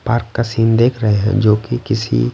park का scene देख रहे हैं जोकि किसी--